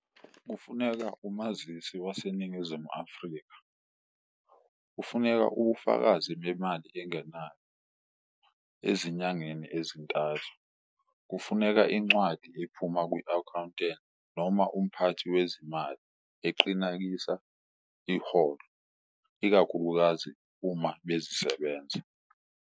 Kufuneka umazisi waseNingizimu Afrika, kufuneka ubufakazi bemali engenayo ezinyangeni ezintathu, kufuneka incwadi ephuma kwi-akhawunteni noma umphathi wezimali eqinakisa iholo ikakhulukazi uma bezisebenza.